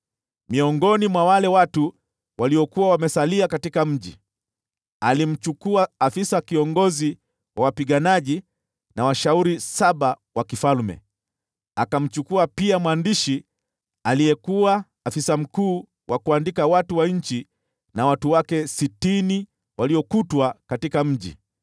Miongoni mwa wale watu waliokuwa wamesalia katika mji, alimchukua afisa kiongozi wa wapiganaji, na washauri saba wa mfalme. Akamchukua pia mwandishi aliyesimamia uandikishaji wa watu wa nchi, pamoja na watu wake sitini waliopatikana ndani ya mji.